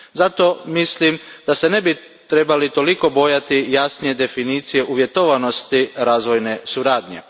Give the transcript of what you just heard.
Zato mislim da se ne bismo trebali toliko bojati jasnije definicije uvjetovanosti razvojne suradnje.